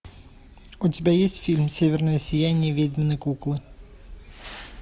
у тебя есть фильм северное сияние ведьминой куклы